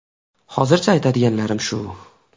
Hozircha aytadiganlarim shu...